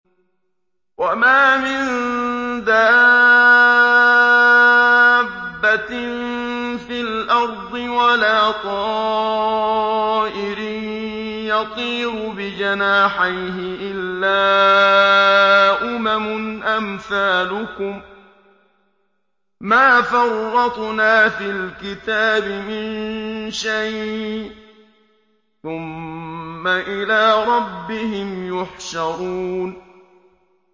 وَمَا مِن دَابَّةٍ فِي الْأَرْضِ وَلَا طَائِرٍ يَطِيرُ بِجَنَاحَيْهِ إِلَّا أُمَمٌ أَمْثَالُكُم ۚ مَّا فَرَّطْنَا فِي الْكِتَابِ مِن شَيْءٍ ۚ ثُمَّ إِلَىٰ رَبِّهِمْ يُحْشَرُونَ